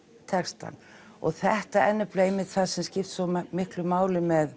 textann og þetta er nefnilega einmitt það sem skiptir svo miklu máli með